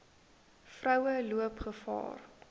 vroue loop gevaar